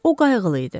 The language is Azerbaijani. O qayğılı idi.